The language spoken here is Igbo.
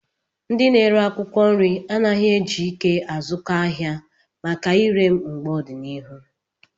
Ndị na-ere akwụkwọ nri anaghị eji ike azụkọ ahịa maka ire mgbe ọdịnihu